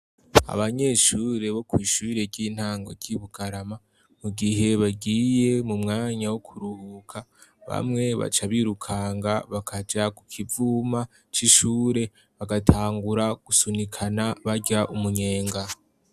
Abanyeshure bo kw' ishure ry'intango ry' I Bukarama, mu gihe bagiye mu mwanya wo kuruhuka bamwe baca birukanga bakaja ku kivuma c'ishure bagatangura gusunikana barya umunyenga.